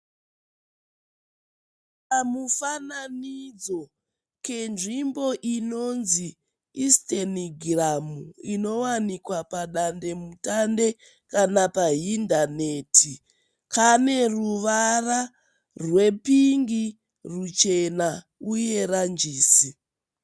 Kamufananidzo kezvimbo inonzi Isitenigiramu inowanikwa padandemutande kana pahindaneti. Kane ruvara rwepingi ruchena uye ranjisi.